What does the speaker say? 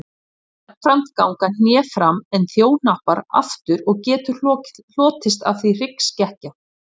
Jafnframt ganga hné fram en þjóhnappar aftur og getur hlotist af því hryggskekkja.